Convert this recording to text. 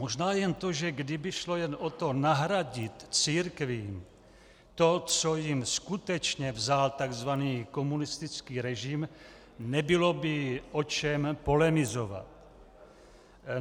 Možná jen to, že kdyby šlo jen o to, nahradit církvím to, co jim skutečně vzal tzv. komunistický režim, nebylo by o čem polemizovat.